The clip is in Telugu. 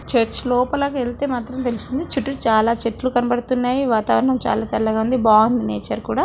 చర్చ్ లోపటికి వెళ్తే మాత్రం తెలుస్తుంది చాలా చెట్లు కనిపెడుతున్నాయి వాతావరణం చాలా చల్లగా ఉంది బాగుంది నేచర్ కూడా.